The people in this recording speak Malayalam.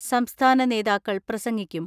സംസ്ഥാന നേതാക്കൾ പ്രസംഗിക്കും.